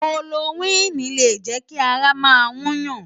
Kólórókwini lé jè ki àrá má yún yán